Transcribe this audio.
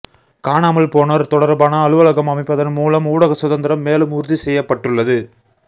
காணாமல் போனோர் தொடர்பான அலுவலகம் அமைப்பதன் மூலம் ஊடக சுதந்திரம் மேலும் உறுதி செய்யப்பட்டுள்ளது